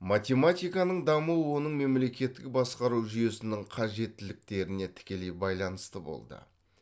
математиканың дамуы оның мемлекеттік басқару жүйесінің қажеттіліктеріне тікелей байланысты болды